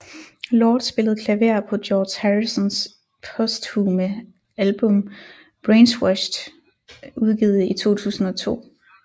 Lord spillede klaver på George Harrisons posthume album Brainwashed udgivet i 2002